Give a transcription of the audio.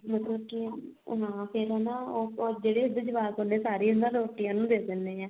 ਮਤਲਬ ਕੀ ਉਹ ਨਾ ਫੇਰ ਨਾ ਉਹ ਜਿਹੜੇ ਉਸਦੇ ਜਵਾਕ ਹੁੰਦੇ ਆ ਨਾ ਸਾਰੀ ਨਾ ਰੋਟੀ ਉਹਨੂੰ ਦੇ ਦਿੰਦੇ ਆ